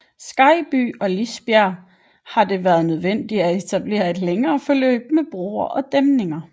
Skejby og Lisbjerg har det været nødvendigt at etablere et længere forløb med broer og dæmninger